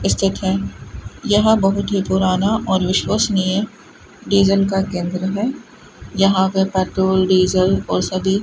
इस है यहां बहुत ही पुराना और विश्वशनीय डीजल का केंद्र है यहां पर पेट्रोल डीजल और सभी --